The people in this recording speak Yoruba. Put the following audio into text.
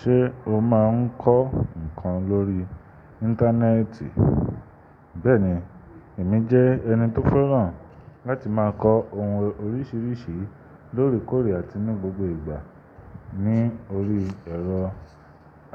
Ṣé o máa ń kọ́ nǹkan lórí Íńtánẹ́ẹ̀tì? Bẹ́ẹ̀ni, èmi jẹ́ ẹni tó fẹ́ràn láti máa kọ ohun oríṣiríṣi lóre kòore àti ní gbogbo ìgbà ní orí ẹ̀rọ